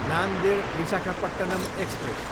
Nanded, Visakhapatnam express